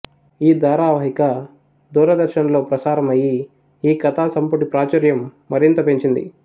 ఈ ధారావాహిక దూరదర్శన్ లో ప్రసారం అయ్యి ఈ కథా సంపుటి ప్రాచుర్యం మరింత పెంచింది